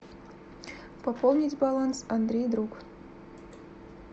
пополнить баланс андрей друг